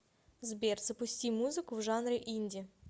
сбер запусти музыку в жанре инди